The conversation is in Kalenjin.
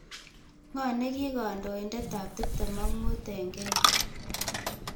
Ng'oo negii kandoiindetap tiptem ak mut eng' Kenya